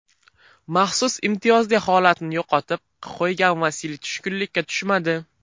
Maxsus imtiyozli holatini yo‘qotib qo‘ygan Vasiliy tushkunlikka tushmadi.